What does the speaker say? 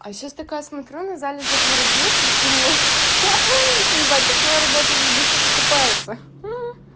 а сейчас такая смотрю на залежи в морозилке и думаю ха-ха ебать так на работу заебись как окупается